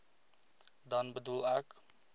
dan bedoel ek